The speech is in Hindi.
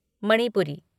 मणिपुरी